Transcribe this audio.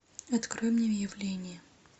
открой мне явление